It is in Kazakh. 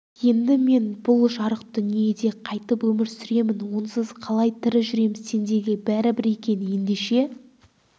енді мен бұл жарық дүниеде қайтіп өмір сүремін онсыз қалай тірі жүрем сендерге бәрібір екен ендеше